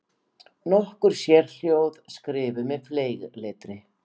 Nokkur sérhljóð skrifuð með fleygletri.